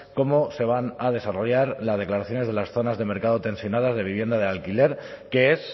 cómo se van a desarrollar las declaraciones de las zonas de mercado tensionado de vivienda de alquiler que es